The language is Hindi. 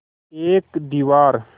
एक दीवार